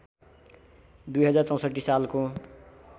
२०६४ सालको